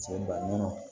Cɛ baŋo